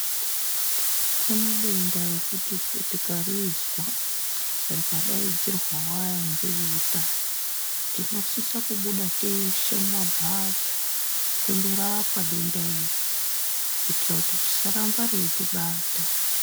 Kune denda rekuti tikarizwa rikadaidzirwawo ngeveutano tinosise kubuda teshe mumambatso tondorapwa denda iri kuitira kuti risaramba reitibata .